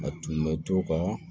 A tun bɛ to ka